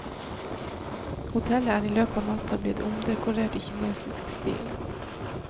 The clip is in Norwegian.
Hotellet er i løpet av natta blitt omdekorert i kinesisk stil.